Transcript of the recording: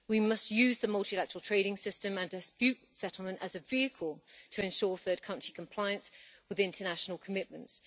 We must use the multilateral trading system and dispute settlement as a vehicle to ensure third country compliance with international commitments.